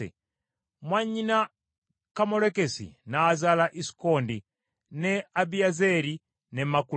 Mwannyina Kammolekisi n’azaala Isukondi, ne Abiyezeeri ne Makula.